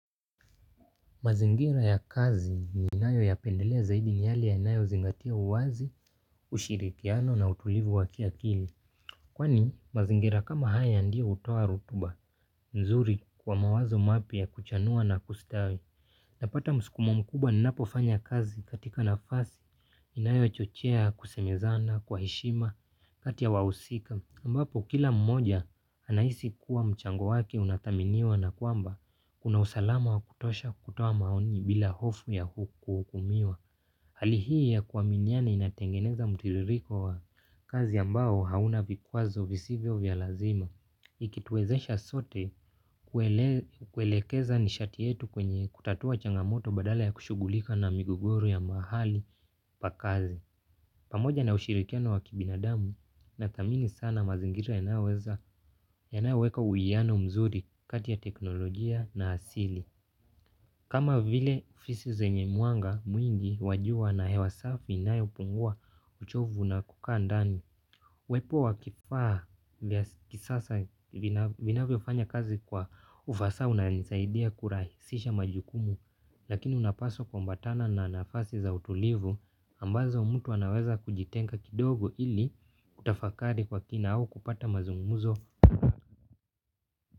Mazingira ya kazi ninayo yapendelea zaidi ni yale yanayozingatia uwazi, ushirikiano na utulivu wa kiakili. Kwani mazingira kama haya ndio hutoa rutuba, nzuri kwa mawazo mapya kuchanua na kustawi. Napata mskumo mkubwa ninapofanya kazi katika nafasi, inayochochea, kusemezana, kwa heshima, kati yaa wahusika. Ambapo kila mmoja anahisi kuwa mchango wake unathaminiwa na kwamba kuna usalama wa kutosha kutoa maoni bila hofu ya kuhukumiwa. Hali hii ya kuaminiana inatengeneza mtiririko wa kazi ambao hauna vikwazo visivyo vya lazima ikituwezesha sote kuelekeza nishati yetu kwenye kutatua changamoto badala ya kushughulika na migogoro ya mahali pa kazi. Pamoja na ushirikiano wa kibinadamu nathamini sana mazingira yanayoweza yanayoweka uwiano mzuri kati ya teknolojia na asili. Kama vile fisi zenye mwanga mwingi wa jua na hewa safi inayopungua uchovu na kukaa ndani. Uwepo wa kifaa vya kisasa vinavyofanya kazi kwa ufasaha unanisaidia kurahisisha majukumu. Lakini unapaswa kuambatana na nafasi za utulivu ambazo mtu anaweza kujitenga kidogo ili kutafakari kwa kina au kupata mazungumzo.